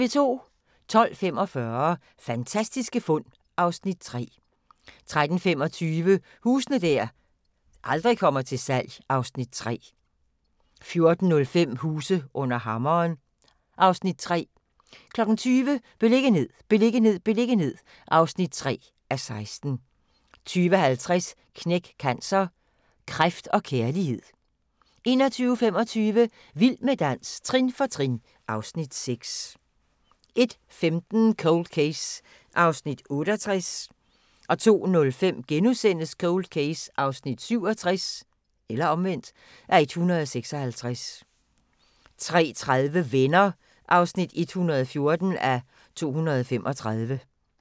12:45: Fantastiske fund (Afs. 3) 13:25: Huse der aldrig kommer til salg (Afs. 3) 14:05: Huse under hammeren (Afs. 3) 20:00: Beliggenhed, beliggenhed, beliggenhed (3:16) 20:50: Knæk Cancer: Kræft & kærlighed 21:25: Vild med dans – trin for trin (Afs. 6) 01:15: Cold Case (68:156) 02:05: Cold Case (67:156)* 03:30: Venner (114:235)